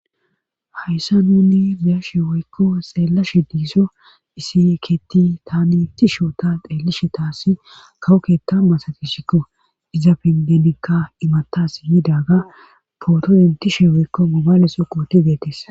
Hayssa nuni biyashe woykko xeella she diiso isieekeeti tani inti shoota xeellishe taasi kawoketa masadishiko iza pingenikka imatas yiidaga pootoyintishe woykko momaleso qooti deetis.